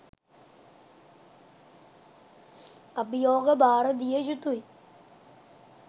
අභියෝග භාර දිය යුතුයි.